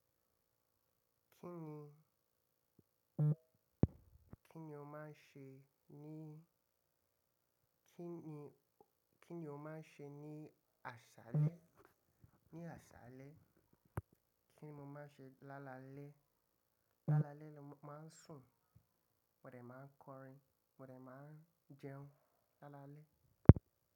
Kí ni, kí ni o máa ń ṣe ní, kí ni, kí ni o máa ń ṣe ní àsálẹ́? Ní àsálẹ́? Kí ni mo máa ń ṣe lálalẹ́? Lálalẹ́ ni mo máa ń sùn, mòdè máa ń kọrin, mòdè máa ń jẹun lálalẹ́.